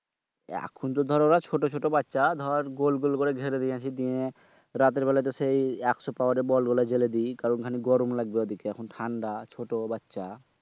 এখনতো দর ওরা ছোট ছোট বাচ্চা দর গোল গোল করে গেরে নিয়ে আসি নিয়ে রাতের বেলায় তো সেই একশ পাওয়ারের বলগুলো ছেড়ে দেই কারণ খানিক গরম লাগবে ঐদিকে কারণ ঠান্ডা ছোট বাচ্চা।